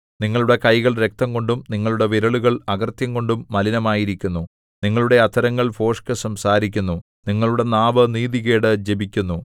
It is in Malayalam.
നിങ്ങളുടെ കൈകൾ രക്തംകൊണ്ടും നിങ്ങളുടെ വിരലുകൾ അകൃത്യംകൊണ്ടും മലിനമായിരിക്കുന്നു നിങ്ങളുടെ അധരങ്ങൾ ഭോഷ്ക് സംസാരിക്കുന്നു നിങ്ങളുടെ നാവ് നീതികേട് ജപിക്കുന്നു